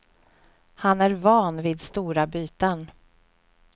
Han är van vid stora byten.